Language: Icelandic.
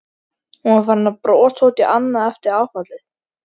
Hún var farin að brosa út í annað eftir áfallið.